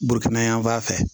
Burukina yan fan fɛ